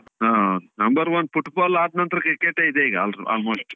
ಹಾ. number one football ಆದ್ ನಂತ್ರ cricket ಯೆ ಇದೆ ಈಗ almost .